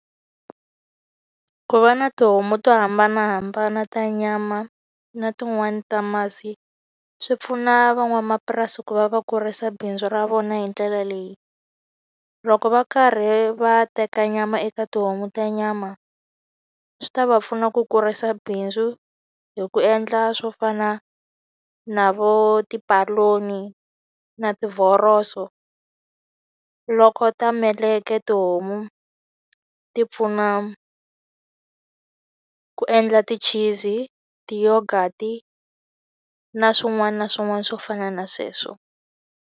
Ku va na tihomu to hambanahambana ta nyama na tin'wani ta masi, swi pfuna van'wamapurasi ku va va kurisa bindzu ra vona hi ndlela leyi. Loko va karhi va teka nyama eka tihomu ta nyama, swi ta va pfuna ku kurisa bindzu hi ku endla swo fana na vo tipaloni, na tivhoroso. Loko ta meleke tihomu ti pfuna ku endla ti chizi, ti-yoghurt-i na swin'wana na swin'wana swo fana na sweswo.